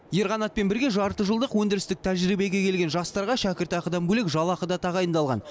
ерқанатпен бірге жарты жылдық өндірістік тәжірибеге келген жастарға шәкіртақыдан бөлек жалақы да тағайындалған